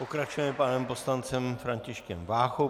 Pokračujeme panem poslancem Františkem Váchou.